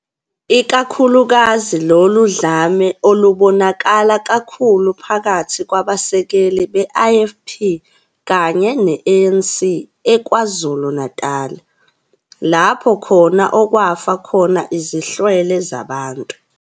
ikakhulukazi lolu dlame lolubonakala kakhulu phakathi kwabasekeli be-IFP kanye ne-ANC eKwaZulu-Natali, lapho khona okwafa khona izihlwele zabantu.